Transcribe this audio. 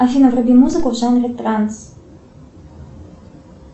афина вруби музыку в жанре транс